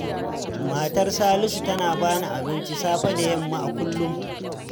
Matar Salisu tana ba ni abinci safe da yamma a kullum.